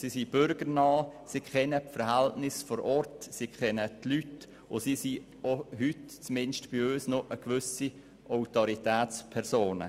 Sie sind bürgernah, kennen die Verhältnisse und die Leute vor Ort, und bis heute sind sie, sind zumindest bei uns, auch gewisse Autoritätspersonen.